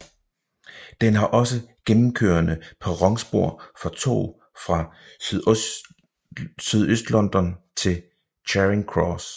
Den har også gennemkørende perronspor for tog fra Sydøstlondon til Charing Cross